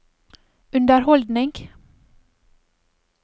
underholdning